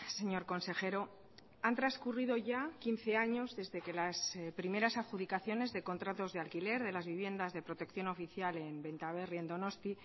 señor consejero han transcurrido ya quince años desde que las primeras adjudicaciones de contratos de alquiler de las viviendas de protección oficial en benta berri en donosti